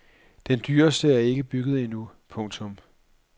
Den dyreste er ikke bygget endnu. punktum